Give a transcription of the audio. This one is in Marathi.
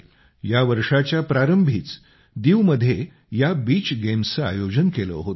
यावर्षाच्या प्रारंभीच दीवमध्ये या बीच गेम्सचं आयोजन केलं होतं